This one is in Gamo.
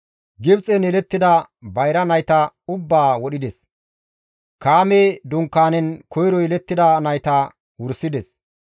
Gibxen yelettida bayra nayta ubbaa wodhides; Kaame dunkaanen koyro yelettida nayta wursides.